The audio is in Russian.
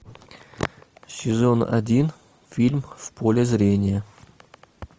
сезон один фильм в поле зрения